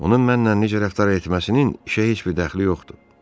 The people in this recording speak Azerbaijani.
Onun mənlə necə rəftar etməsinin işə heç bir dəxli yoxdur.